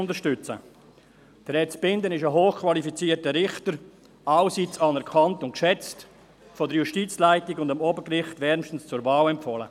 Herr Zbinden ist ein hochqualifizierter Richter, allseits anerkannt und geschätzt, von der Justizleitung und vom Obergericht wärmstens zur Wahl empfohlen.